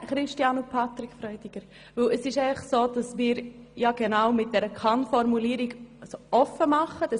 Es ist einfach so, dass wir mit dieser Kann-Formulierung die Möglichkeiten öffnen.